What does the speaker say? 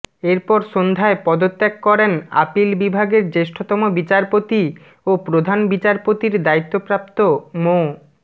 এরপর সন্ধ্যায় পদত্যাগ করেন আপিল বিভাগের জ্যেষ্ঠতম বিচারপতি ও প্রধান বিচারপতির দায়িত্বপ্রাপ্ত মো